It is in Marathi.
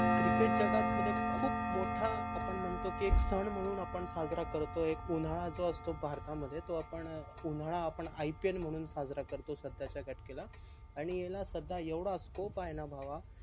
cricket जगामध्ये खूप मोठा आपण म्हणतो की एक सन म्हणून आपण साजरा करतो एक उन्हाडा जो असतो भारतामध्ये तो आपण उन्हाळा आपण IPL म्हणून साजरा म्हणून साजरा करतो सध्या च्या घटकेला आणि याला सध्या एवढा scope आहे न भावा